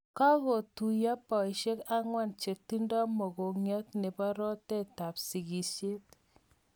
Kakituywo boisyek angwan chetindoi mogongiat nebo roteet ab sigisyet